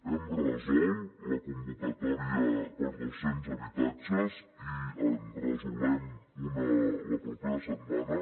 hem resolt la convocatòria per a dos cents habitatges i en resolem una la propera setmana